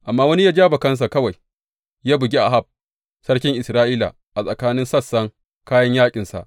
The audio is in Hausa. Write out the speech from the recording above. Amma wani ya ja bakansa kawai ya bugi Ahab sarkin Isra’ila a tsakanin sassan kayan yaƙinsa.